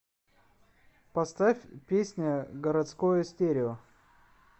поставь песня городское стерео